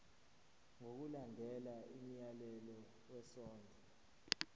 ngokulandela umyalelo wesondlo